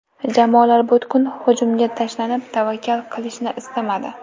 Jamoalar butkul hujumga tashlanib, tavakkal qilishni istamadi.